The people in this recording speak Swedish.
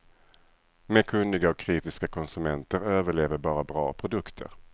Med kunniga och kritiska konsumenter överlever bara bra produkter.